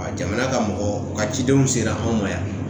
Jamana ka mɔgɔ u ka cidenw sera anw ma yan